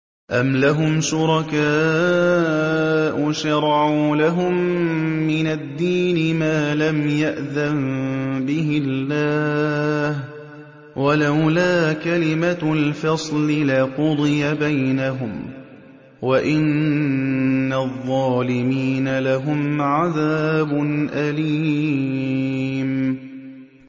أَمْ لَهُمْ شُرَكَاءُ شَرَعُوا لَهُم مِّنَ الدِّينِ مَا لَمْ يَأْذَن بِهِ اللَّهُ ۚ وَلَوْلَا كَلِمَةُ الْفَصْلِ لَقُضِيَ بَيْنَهُمْ ۗ وَإِنَّ الظَّالِمِينَ لَهُمْ عَذَابٌ أَلِيمٌ